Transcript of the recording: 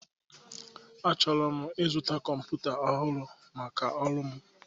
Achọrọ m ịzụta kọmpụta ọhụrụ maka ọrụ m.